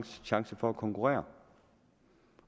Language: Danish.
chance for at konkurrere